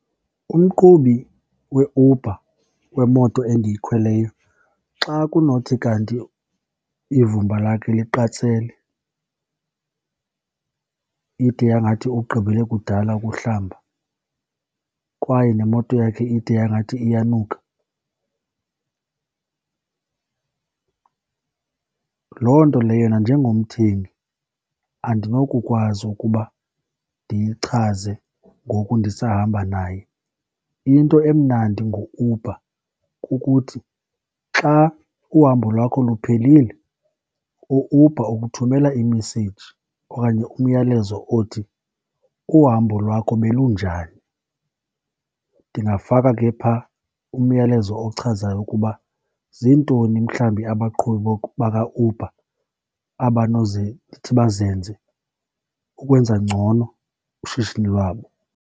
Umqhubi weUber, wemoto endiyikhweleyo, xa kunothi kanti ivumba lakhe liqatsele ide yangathi ugqibele kudala ukuhlamba kwaye nemoto yakhe ide yangathi iyanuka, loo nto leyo nanjengomthengi andinokukwazi ukuba ndiyichaze ngoku ndisahamba naye. Into emnandi ngoUber kukuthi xa uhambo lwakho luphelile, uUber ukuthumela i-message okanye umyalezo othi, uhambo lwakho belunjani? Ndingafaka ke pha umyalezo ochazayo ukuba ziintoni mhlawumbi abaqhubi bakaUber ndithi bazenze ukwenza ngcono ushishini lwabo.